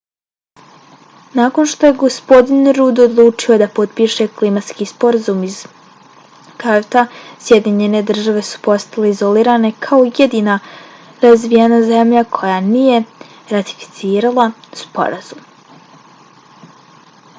nakon što je gospodin rudd odlučio da potpiše klimatski sporazum iz kyota sjedinjene države su postale izolirane kao jedina razvijena zemlja koja nije ratificirala sporazum